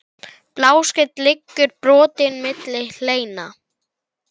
Bláskel liggur brotin milli hleina.